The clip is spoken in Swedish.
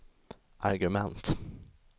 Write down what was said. argument